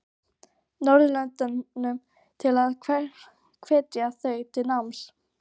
Norðurlöndunum til að hvetja þau til náms?